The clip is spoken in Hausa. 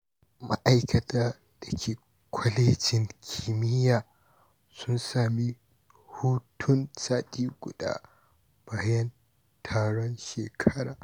Ma’aikata da ke Kwalejin Kimiyya sun sami hutun sati guda bayan taron shekara.